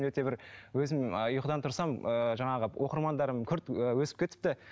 өте бір өзім ұйқыдан тұрсам ыыы жаңағы оқырмандарым күрт ііі өсіп кетіпті